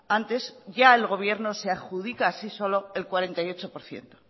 antes ya el gobierno se adjudica así solo el cuarenta y ocho por ciento